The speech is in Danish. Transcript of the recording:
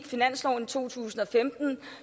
finansloven i to tusind og femten